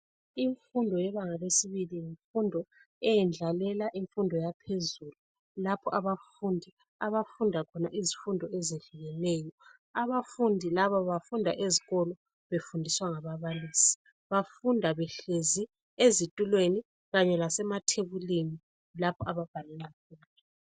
Imfundo yebanga lesibili yimfundo eyendlalela imfundo yaphezulu lapho abafundi abafunda khona izifundo ezehlukeneyo. Abafundi laba bafuna ezikolo befundiswa ngababalisi. Bafuna behlezi ezitulweni kanye lasemathebulini lapho ababhalela khona.